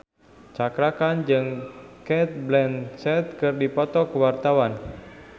Cakra Khan jeung Cate Blanchett keur dipoto ku wartawan